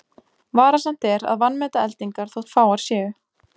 Varasamt er að vanmeta eldingar þótt fáar séu.